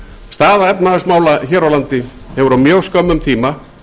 staða efnahagsmála hér á landi hefur á skömmum tíma